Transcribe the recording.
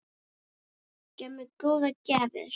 Gaf mér góðar gjafir.